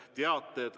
Teated.